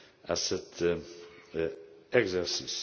à cet exercice.